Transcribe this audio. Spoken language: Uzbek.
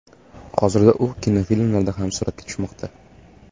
Hozirda u kinofilmlarda ham suratga tushmoqda.